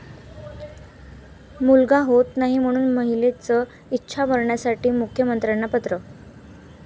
मुलगा होत नाही म्हणून महिलेचं इच्छा मरणासाठी मुख्यमंत्र्यांना पत्र